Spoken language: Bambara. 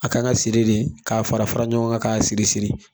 A ka kan ka siri de, k'a fara fara ɲɔgɔn kan k'a siri siri.